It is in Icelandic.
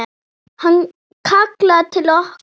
Hann kallar til okkar.